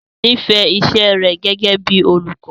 Ruth nífẹ̀ẹ́ iṣẹ́ rẹ̀ gẹ́gẹ́ bíi olùkọ́.